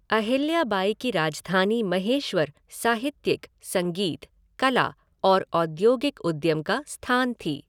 अहिल्या बाई की राजधानी महेश्वर साहित्यिक, संगीत, कला और औद्योगिक उद्यम का स्थान थी।